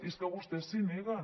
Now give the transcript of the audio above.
i és que vostès s’hi neguen